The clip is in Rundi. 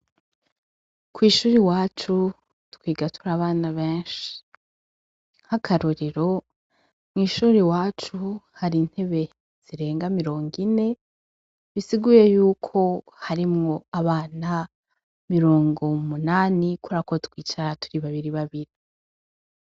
Kw'ishuri wacu twigatura abana benshi, h’akarorero mw'ishuri wacu hari intebe zirenga mirongo ine bisiguye yuko harimwo abana mirongo mu munani korako twicara turi babiri babiri.